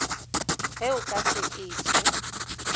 ge o ka se etho